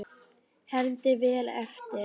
Hermdi vel eftir.